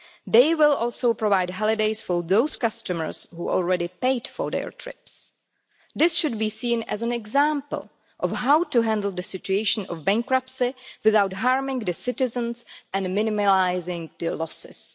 They will also provide holidays for those customers who had already paid for their trips. This should be seen as an example of how to handle the situation of bankruptcy without harming the citizens, and minimising their losses.